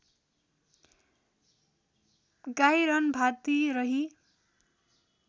गाई रन्भाती रही